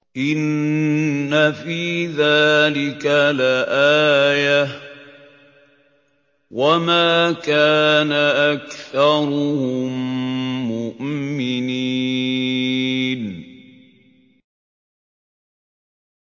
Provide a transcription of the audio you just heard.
إِنَّ فِي ذَٰلِكَ لَآيَةً ۖ وَمَا كَانَ أَكْثَرُهُم مُّؤْمِنِينَ